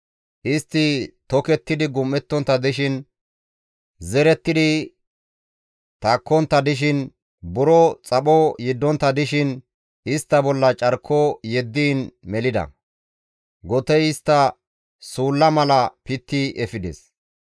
Istti tokettidi gam7ontta dishin, zerettidi takkontta dishin, buro xapho yeddontta dishin istta bolla carko yeddiin melida; gotey istta suulla mala pitti efides.